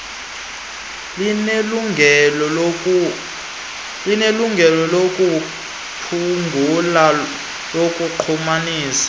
linelungelo lokuphungula lokunqumamisa